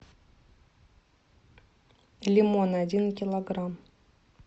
лимон один килограмм